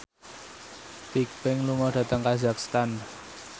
Bigbang lunga dhateng kazakhstan